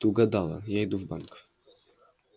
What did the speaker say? ты угадала я иду в банк